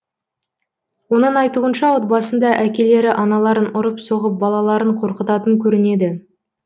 оның айтуынша отбасында әкелері аналарын ұрып соғып балаларын қорқытатын көрінеді